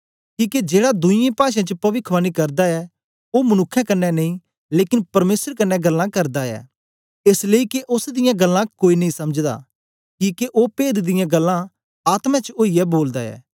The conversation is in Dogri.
किके जेड़ा दुई पाषें च गल्लां करदा ऐ ओ मनुक्खें कन्ने नेई लेकन परमेसर कन्ने गल्लां करदा ऐ एस लेई के ओस दियां गल्लां कोई नेई समझदा किके ओ पेद दियां गल्लां आत्मा च ओईयै बोलदा ऐ